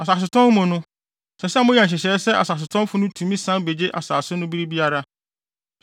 Asasetɔn mu no, ɛsɛ sɛ moyɛ nhyehyɛe sɛ asasetɔnfo no tumi san begye asase no bere biara.